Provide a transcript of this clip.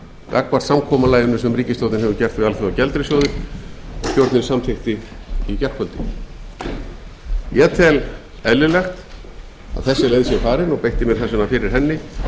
gagnvart samkomulaginu sem ríkisstjórnin hefur gert við alþjóðagjaldeyrissjóðinn og stjórnin samþykkti í gærkvöldi ég tel eðlilegt að þessi leið sé farin og beitti mér þess vegna fyrir henni